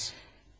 Nə etdiniz?